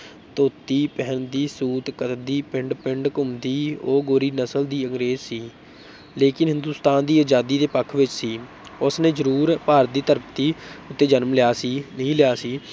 ਧੋਤੀ ਪਹਿਨਦੀ ਸੂਟ ਕਰਦੀ ਪਿੰਡ ਪਿੰਡ ਘੁੰਮਦੀ ਉਹ ਗੋਰੀ ਨਸ਼ਲ ਦੀ ਅੰਗਰੇਜ਼ ਸੀ ਲੇਕਿਨ ਹਿੰਦੁਸ‍ਤਾਨ ਦੀ ਆਜ਼ਾਦੀ ਦੇ ਪੱਖ ਵਿੱਚ ਸੀ ਉਸ ਨੇ ਜਰੂਰ ਭਾਰਤ ਦੀ ਧਰਤੀ ਉੱਤੇ ਜਨਮ ਲਿਆ ਸੀ, ਨਹੀਂ ਲਿਆ ਸੀ,